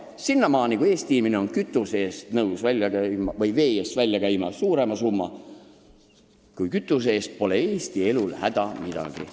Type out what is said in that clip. Aga sinnamaani, kui Eesti inimene on nõus vee eest välja käima suurema summa kui kütuse eest, pole Eesti elul häda midagi.